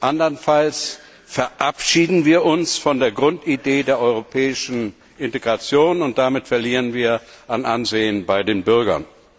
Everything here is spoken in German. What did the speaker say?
Anderenfalls verabschieden wir uns von der Grundidee der europäischen Integration und damit verlieren wir an Ansehen bei den Bürgern.